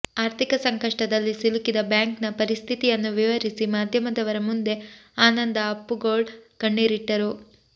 ಆರ್ಥಿಕ ಸಂಕಷ್ಟದಲ್ಲಿ ಸಿಲುಕಿದ ಬ್ಯಾಂಕ್ ನ ಪರಿಸ್ಥಿತಿಯನ್ನು ವಿವರಿಸಿ ಮಾಧ್ಯಮದವರ ಮುಂದೆ ಆನಂದ ಅಪ್ಪುಗೋಳ್ ಕಣ್ಣೀರಿಟ್ಟರು